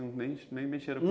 Nem nem mexeram